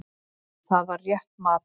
Og það var rétt mat.